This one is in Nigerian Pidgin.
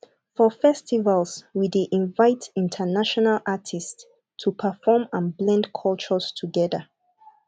for festivals we dey invite international artists to perform and blend cultures together